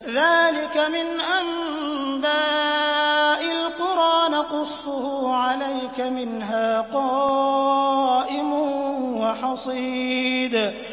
ذَٰلِكَ مِنْ أَنبَاءِ الْقُرَىٰ نَقُصُّهُ عَلَيْكَ ۖ مِنْهَا قَائِمٌ وَحَصِيدٌ